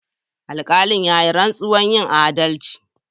Alkalin ya yi rantsuwar yin adalci.